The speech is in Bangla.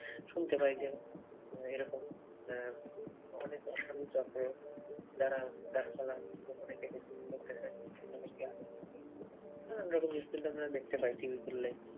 শুনতে পায় যে, এরকম উম অনেক অসাধু চক্র যারা গাছপালা গোপনে কেটে ঘুরতেছে তাদেরকে আটক করতেছে। আহ এরকম news কিন্তু আমরা দেখতে পাই টিভি খুললেই।